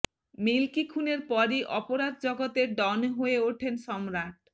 milky খুনের পরই অপরাধ জগতের ডন হয়ে ওঠেন সম্রাট